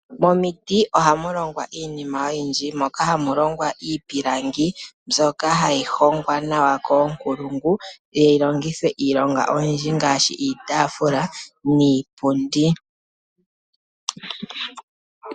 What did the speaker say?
Momiti ohamu longwa iinima oyindji, moka hamulongwa iipilangi, mbyoka hayi hongwa nawa koonkulungu yi longithwe iitaafula niipundi.